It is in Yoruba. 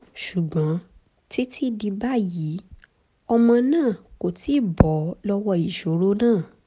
ṣùgbọ́n títí di báyìí ọmọ náà kò tíì bọ́ lọ́wọ́ ìṣòro náà